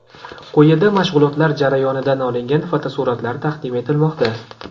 Quyida mashg‘ulotlar jarayonidan olingan fotosuratlar taqdim etilmoqda.